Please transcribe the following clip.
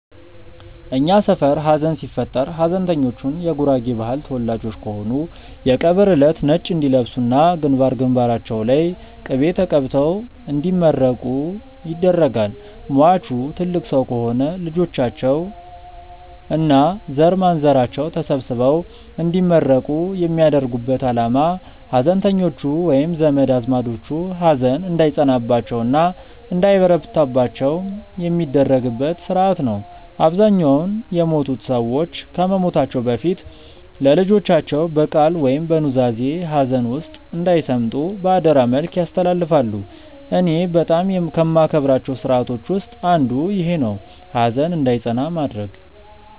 እኛ ሰፈር ሀዘን ሲፈጠር ሀዘንተኞቹ የጉራጌ ባህል ተወላጆች ከሆኑ የቀብር እለት ነጭ እንዲለብሱ እና ግንባር ግንባራቸው ላይ ቅቤ ተቀብተው እንዲመረቁ ይደረጋል። ሟቹ ትልቅ ሰው ከሆኑ ልጆቻቸው እና ዘርማንዘራቸው ተሰብስበው እንዲመረቁ የሚያደርጉበት አላማ ሀዘንተኞቹ ወይም ዘመድ አዝማዶቹ ሀዘን እንዳይጸናባቸው እና እንዳይበረታባቸው የሚደረግበት ስርአት ነው። አብዛኛውን የሞቱት ሰዎች ከመሞታቸው በፊት ለልጆቻቸው በቃል ወይም በኑዛዜ ሀዘን ውስጥ እንዳይሰምጡ በአደራ መልክ ያስተላልፋሉ። እኔ በጣም ከማከብራቸው ስርአቶች ውስጥ አንዱ ይኼ ነው፣ ሀዘን እንዳይጸና ማድረግ።